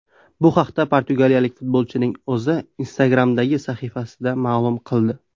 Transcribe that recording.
Bu haqda portugaliyalik futbolchining o‘zi Instagram’dagi sahifasida ma’lum qildi .